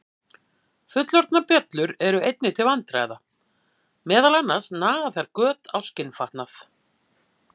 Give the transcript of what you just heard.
Fullorðnar bjöllur eru einnig til vandræða, meðal annars naga þær göt á skinnfatnað.